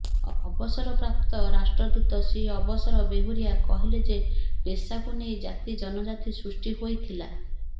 ଅବସର ପ୍ରାପ୍ତ ରାଷ୍ଟ୍ରଦୂତ ଶ୍ରୀ ଅବସର ବେହୁରୀଆ କହିଲେ ଯେ ପେସାକୁ ନେଇ ଜାତି ଜନଜାତି ସୃଷ୍ଟି ହୋଇଥିଲା